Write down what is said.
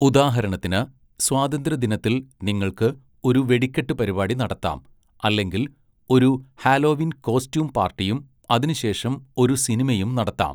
ഉദാഹരണത്തിന്, സ്വാതന്ത്ര്യദിനത്തിൽ നിങ്ങൾക്ക് ഒരു വെടിക്കെട്ട് പരിപാടി നടത്താം അല്ലെങ്കിൽ ഒരു ഹാലോവീൻ കോസ്റ്റ്യൂം പാർട്ടിയും അതിനുശേഷം ഒരു സിനിമയും നടത്താം.